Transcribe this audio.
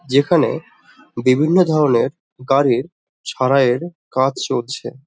যেখানে বিভিন্ন ধরণের গাড়ির কাজ চলছে।